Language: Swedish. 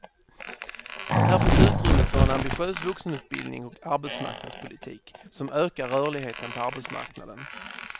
Här finns utrymme för en ambitiös vuxenutbildning och arbetsmarknadspolitik, som ökar rörligheten på arbetsmarknaden.